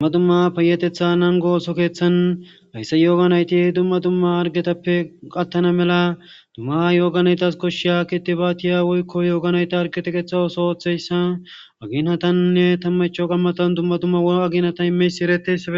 dmma dumma paayetetha nango ooso keeththan hayssa yooganayti dumma dumma argetappe qattana mela dummaha yooganaytas koshshi aakkiti baatiya woykko yooganayta argeteqetha ooso ooththeyssa agiinatannne tammacho gammatan dumma dumma woo agiinata imeysi eretes